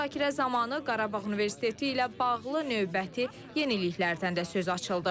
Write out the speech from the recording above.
Müzakirə zamanı Qarabağ Universiteti ilə bağlı növbəti yeniliklərdən də söz açıldı.